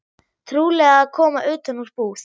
Trúlega að koma utan úr búð.